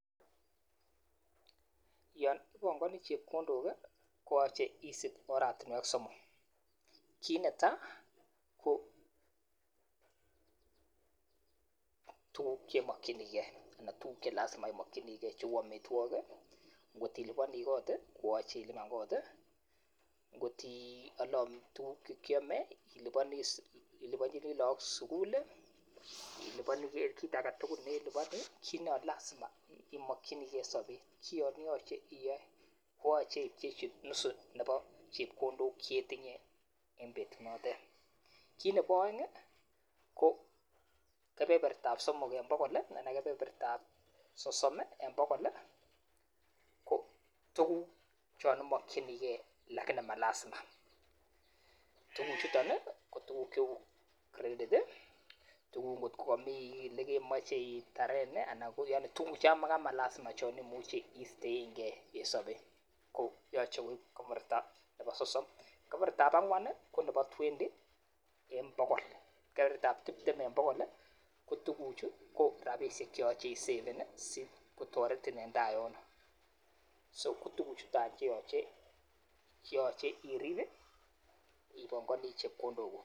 Yon ipangani chepkondok koyoche isip oratinwek somok, kit netai ko tukuk chemokyini ala tukuk chelazima imokyinike cheu amitwokik ,ngot ilipani kot koyoche ilipan kot, ngot iale amitwokik tukchekyome, ilipanchin look sikul, ilipani kit agetugul neelipani kit nalazima imokyinike en sobet kion yoche iyoe koche ipchechi nusu nepo chepkondok cheetinye en betunotet. Ki nepo aeng ko kebebertab somok en bogol anan kebebertab sosom en bogol kotukuk chon imokyinike lakini malazima tukuchuton ko tukuk cheu credit, tukuk ngo kokomii ele kemoi itaren alan tukuk changamakolazima chon imuche istoenge en sobet ko yoche kokebeberta nepo sosom. kebebertab angwan konepo twenty en bogol kebebertab tiptem en bogol kotukuchu ko rapisiek cheyoche isaven sikotoretin en taa yono so kotukuchutany cheyoche irip ipongani chepkondokuk.